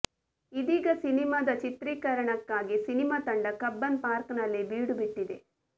ಇದೀಗ ಸಿನಿಮಾದ ಚಿತ್ರೀಕರಣಕ್ಕಾಗಿ ಸಿನಿಮಾ ತಂಡ ಕಬ್ಬನ್ ಪಾರ್ಕ್ ನಲ್ಲಿ ಬೀಡು ಬಿಟ್ಟಿದೆ